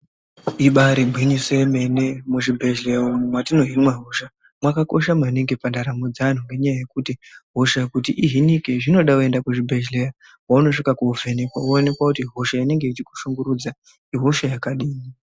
Ibaari gwinyiso yemene, muzvibhedhleya umu mwatinohinwa hosha mwakakosha maningi pandaramo dzeantu. Ngenyaya yekuti, hosha kuti ihinike zvinoda waenda kuzvibhedhlera kwaunosvika koovhenekwa woonekwa kuti hosha inenge ichikushungurudza ihosha yakadini.